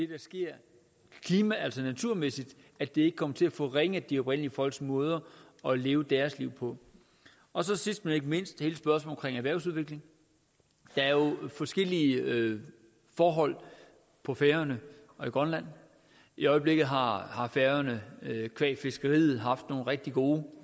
der sker klima og altså naturmæssigt ikke kommer til at forringe de oprindelige folks måder at leve deres liv på og så sidst men ikke mindst hele spørgsmålet om erhvervsudvikling der er jo forskellige forhold på færøerne og i grønland i øjeblikket har har færøerne qua fiskeriet haft nogle rigtig gode